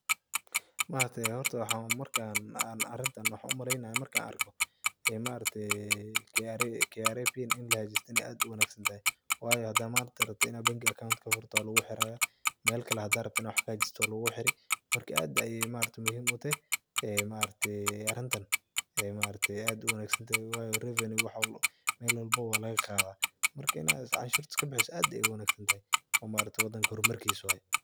Horta, marka aan arintan, waxan umaleynaya markan arko kra kra pin in lahagaajisto in ay aad u wanagsantahay. Waayo, hadaa mant aad rabto in aad bangi aad account kafurato, waa luguguhiraaya. Meel kale, hadaa rabto inaa wax kahagajisto, waa luguguhiri. Marka, aad ayaay muhiim u tahay arintan aad u wanagsantahay waayo revenue wax welbo, meel welbo waa lagaqaadaa. Marka, in aad anshurta iskabixiso, aad ayaay u wanagsantahay. Wadanka hormarkiis waay.